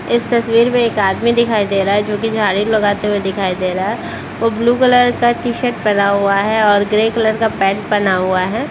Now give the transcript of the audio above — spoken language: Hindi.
इस तस्वीर में एक आदमी दिखाई दे रहा है जो की झाड़ू लगाते हुए दिखाई दे रहा है वो ब्लू कलर का टी-शर्ट पहना हुआ है और ग्रे कलर का पैन्ट पहना हुआ है।